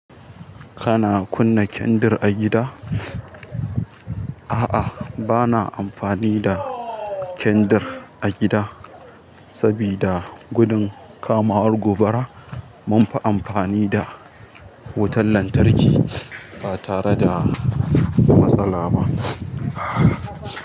Kana kunna kendir a gida? A'a, bana amfani da kendir a gida saboda gudun kamawar gobara. Munfi amfani da wutar lantarki ba tare da matsala ba.